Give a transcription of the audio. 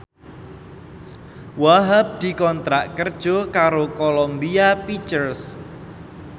Wahhab dikontrak kerja karo Columbia Pictures